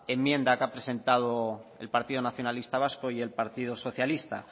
enmienda que ha presentado el partido nacionalista vasco y el partido socialista